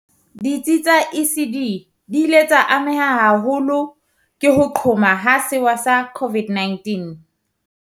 Ditsi tsa ECD di ile tsa ameha haholo ke ho qhoma ha sewa sa COVID-19.